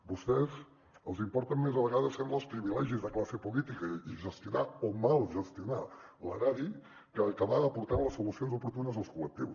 a vostès els importen més a vegades sembla els privilegis de classe política i gestionar o mal gestionar l’erari que acabar aportant les solucions oportunes als col·lectius